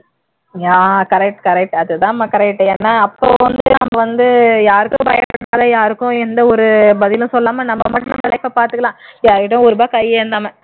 yeah correct correct அதுதாம்மா correct ஏன்னா அப்போ வந்து நம்ம வந்து யார்க்கும் பயப்படாம யாருக்கும் எந்த ஒரு பதிலும் சொல்லாம நம்ம மட்டும் பாத்துக்கலாம் யார்கிட்டையும் ஒரு ரூபாய் கை ஏந்தாம